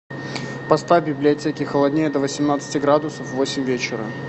поставь в библиотеке холоднее до восемнадцати градусов в восемь вечера